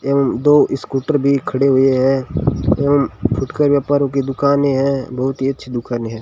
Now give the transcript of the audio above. एवं दो स्कूटर भी खड़े हुए हैं एवं फुटकर व्यापारो की दुकानें हैं बहुत ही अच्छी दुकानें हैं।